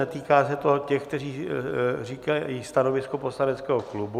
Netýká se to těch, kteří říkají stanovisko poslaneckého klubu.